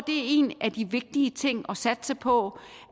en af de vigtige ting at satse på